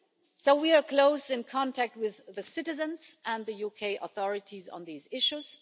So, we are in close contact with the citizens and the UK authorities on these issues.